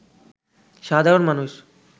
সাধারণ মানুষ